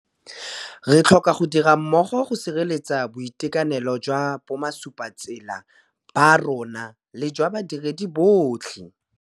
Re tlhoka go dira mmogo go sireletsa boitekanelo jwa bomasupatsela ba rona le jwa badiredi botlhe.